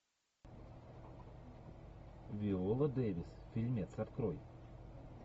виола дэвис фильмец открой